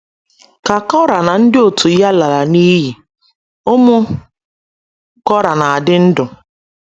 Ka Kora na ndị òtù ya lara n’iyi, ụmụ Kora n'adi ndụ